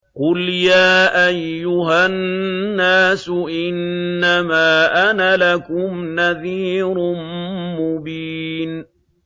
قُلْ يَا أَيُّهَا النَّاسُ إِنَّمَا أَنَا لَكُمْ نَذِيرٌ مُّبِينٌ